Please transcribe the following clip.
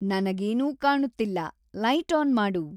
ನನಗೆನೂ ಕಾಣುತ್ತಿಲ್ಲ, light on ಮಾಡು.